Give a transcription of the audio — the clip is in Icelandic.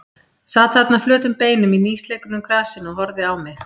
Sat þarna flötum beinum í nýslegnu grasinu og horfði á mig.